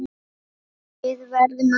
Við verðum að vinna.